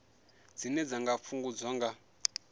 dzine dza nga fhungudzwa nga